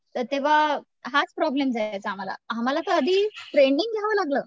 तर तेंव्हा हाच प्रॉब्लेम जायचा आम्हाला आम्हाला तर आधी ट्रेंनिंग घ्यावं लागलं.